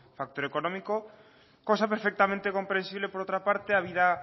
factor económico cosa perfectamente comprensible por otra parte habida